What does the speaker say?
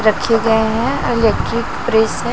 रखे गए हैं इलेक्ट्रिक प्रेस है।